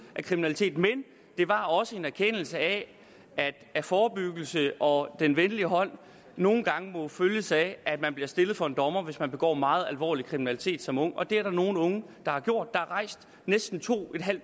af kriminalitet men det var også en erkendelse af at forebyggelse og den venlige hånd nogle gange må følges op af at man bliver stillet for en dommer hvis man begår meget alvorlig kriminalitet som ung og det er der nogle unge der har gjort der er rejst næsten to